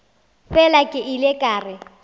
fela ke ile ka re